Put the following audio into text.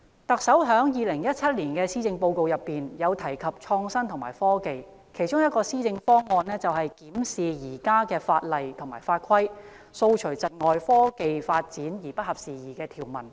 特首在2017年施政報告就創新及科技提出若干施政方向，其中一個就是"檢視現行法例及法規，掃除窒礙創科發展而不合時宜的條文"。